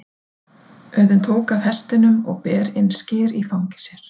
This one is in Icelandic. Auðunn tók af hestinum og ber inn skyr í fangi sér.